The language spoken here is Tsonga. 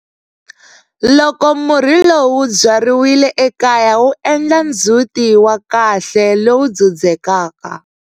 Loko murhi lowu wu byariwile ekaya, wu endla ndzhuti wa kahle lowu dzudzekaka.